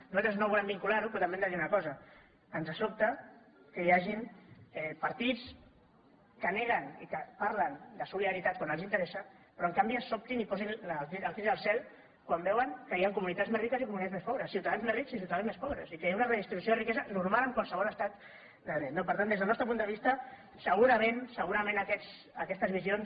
nosaltres no volem vincular ho però també hem de dir una cosa ens sobta que hi hagin partits que neguen i que parlen de solidaritat quan els interessa però en canvi es sobtin i posin el crit al cel quan veuen que hi han comunitats més riques i comunitats més pobres ciutadans més rics i ciutadans més pobres i que hi ha una redistribució de la riquesa normal en qualsevol estat de dret no per tant des del nostre punt de vista segurament aquestes visions